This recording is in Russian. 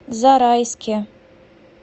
зарайске